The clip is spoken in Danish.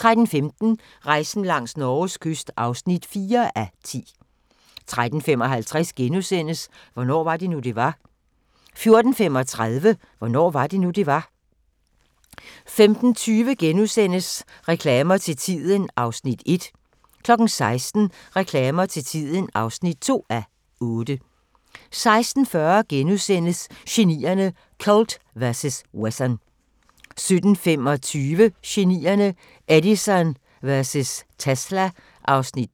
13:15: Rejsen langs Norges kyst (4:10) 13:55: Hvornår var det nu, det var? * 14:35: Hvornår var det nu, det var? 15:20: Reklamer til tiden (1:8)* 16:00: Reklamer til tiden (2:8) 16:40: Genierne: Colt vs. Wesson * 17:25: Genierne: Edison vs. Tesla (Afs. 2)